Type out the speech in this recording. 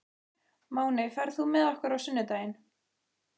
Máney, ferð þú með okkur á sunnudaginn?